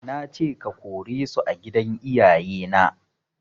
Nace ka/ke kore su a gidan iyaye na